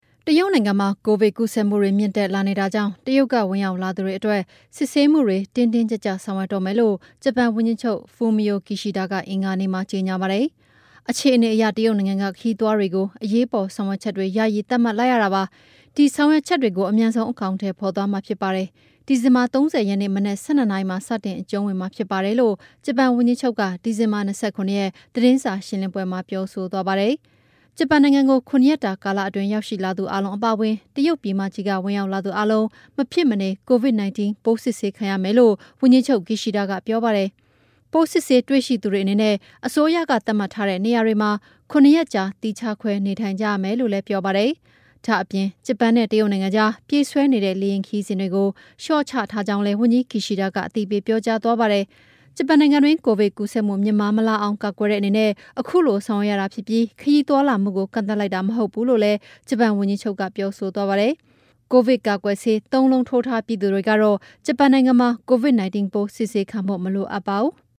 တရုတ်နိုင်ငံမှာ ကိုဗစ်ပိုးကူးစက်မှုတွေ မြင့်တက်လာနေတာကြောင့် တရုတ်က ဝင်ရောက်လာသူတွေအတွက် စစ်ဆေးမှု တင်းတင်း ကြပ်ကြပ် ဆောင်ရွက်တော့မယ်လို့ ဂျပန်ဝန်ကြီးချုပ် Fumio Kishida က အင်္ဂါနေ့မှာ ကြေညာပါတယ်။ " အခြေအနေအရ တရုတ်နိုင်ငံက ခရီးသွားတွေကို အရေးပေါ်ဆောင်ရွက်ချက်တွေ ယာယီသတ်မှတ်လိုက်ရတာပါ။ ဒီဆောင်ရွက်ချက်တွေကိုလည်း အမြန်ဆုံး အကောင်အထည်ဖော်သွားမှာဖြစ်ပါတယ်။ ဒီဇင်ဘာ ၃၀ ရက်နေ့ မနက် ၁၂ နာရီမှာစတင်အကျုံးဝင်မှာဖြစ်ပါတယ် "လို့ ဂျပန်ဝန်ကြီးချုပ်က ဒီဇင်ဘာ ၂၇ ရက်၊ သတင်းစာရှင်းလင်းပွဲ မှာပြောဆိုသွားတာဖြစ်ပါတယ်။ ဂျပန်နိုင်ငံကို ၇ ရက်တာကာလအတွင်းရောက်ရှိလာသူအားလုံးအပါအဝင် တရုတ်ပြည်မကြီးက ဝင်ရောက်လာသူအားလုံး မဖြစ်မနေ Covid-19 ပိုးစစ်ဆေးခံရမယ်လို့ ဝန်ကြီးချုပ် Kishida ကပြောပါတယ်။ ပိုးစစ်ဆေးတွေ့ရှိသူတွေအနေနဲ့ အစိုးရကသတ်မှတ်ထားတဲ့ နေရာတွေမှာ ၇ ရက်ကြာသီးခြားခွဲနေထိုင်ကြရမယ်လို့လည်းပြောပါတယ်။ ဒါ့အပြင် ဂျပန်နဲ့ တရုတ်နိုင်ငံကြား ပြေးဆွဲနေတဲ့ လေယာဉ်ခရီးစဉ်တွေကို လေ ျှာ့ချထားကြောင်းလည်း ဝန်ကြီး Kishida ကအသိပေးပြောကြားသွားတာပါ။ ဂျပန်နိုင်ငံတွင်း ကိုဗစ်ပိုးကူးစက်မှု မြင့်မားမလာအောင် ကာကွယ်တဲ့အနေနဲ့ ခုလိုဆောင်ရွက်ရတာဖြစ်ပြီး ခရီးသွားလာမှုကို ကန့်သတ်လိုက်တာမဟုတ်ဘူးလို့လည်း ဂျပန်ဝန်ကြီးချုပ်က ပြောဆိုသွားပါတယ်။ ကိုဗစ်ကာကွယ်ဆေး ၃ လုံးထိုးထားပြီးသူတွေကတော့ ဂျပန်နိုင်ငံမှာ Covid-19 ပိုးစစ်ဆေးခံဖို့ မလိုအပ်ပါဘူး။